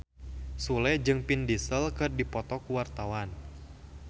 Sule jeung Vin Diesel keur dipoto ku wartawan